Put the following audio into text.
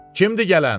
Kimdir gələn?